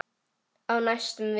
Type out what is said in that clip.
Á næstu vikum.